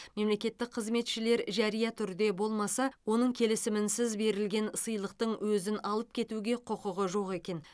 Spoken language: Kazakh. мемлекеттік қызметшілер жария түрде болмаса оның келісімінсіз берілген сыйлықтың өзін алып кетуге құқығы жоқ екен